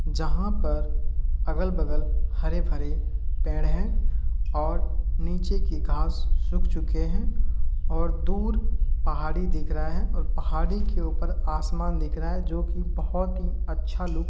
जहा पर अगल-बगल हरे-भरे पेड़ है और नीचे की घास सुख चुके है और दूर पाहाड़ी दिख रहा हैं ओर पहाड़ी के ऊपर आसमान दिख रहा है जोकि बहुत ही अच्छा लुक --